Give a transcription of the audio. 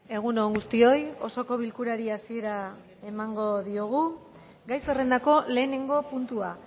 egun on guztioi osoko bilkurari hasiera emango diogu gai zerrendako lehenengo puntua